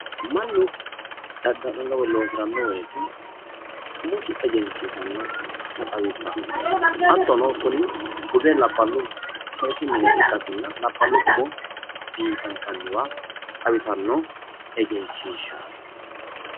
Mannu dadda'lanno woyi loosiranno woyite umosi egensiisanota xawissanno. hattono kuni buze labbalu umo biifinssanni mine xawisanno egenshiishaati